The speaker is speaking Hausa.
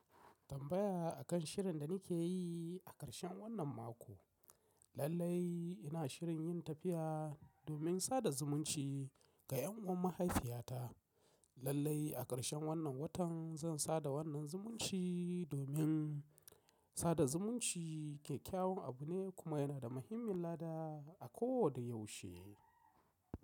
Tambaya akan shirin da nake yi a ƙarshen wannan mako. Lallai ina shirin yin tafiya domin sada zumunci ga ƴan uwan mahaifiyata. Lallai a ƙarshen wannan watan zan sada wannan zumunci domin sada zumunci kyakyawan abu ne kuma yana da muhimmin lada a ko da yaushe.